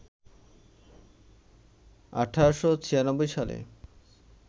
১৮৯৬ সালে